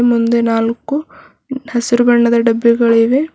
ಮುಂದೆ ನಾಲ್ಕು ಹಸಿರು ಬಣ್ಣದ ಡಬ್ಬಿಗಳಿವೆ.